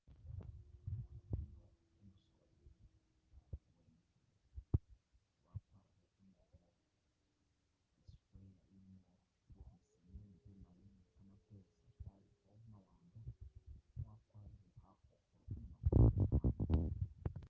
<> too low